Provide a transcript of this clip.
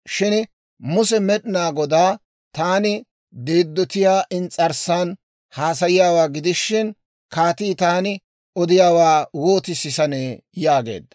Shin Muse Med'inaa Godaa, «Taani deeddotiyaa ins's'arssan haasayiyaawaa gidishin, kaatii taani odiyaawaa wooti sisanee?» yaageedda.